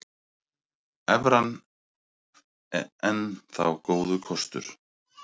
Evran enn þá góður kostur